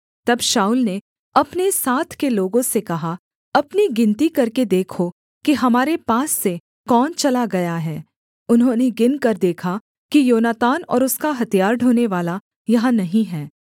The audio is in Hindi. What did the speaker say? तब शाऊल ने अपने साथ के लोगों से कहा अपनी गिनती करके देखो कि हमारे पास से कौन चला गया है उन्होंने गिनकर देखा कि योनातान और उसका हथियार ढोनेवाला यहाँ नहीं हैं